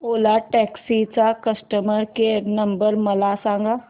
ओला taxi चा customer care number मला सांग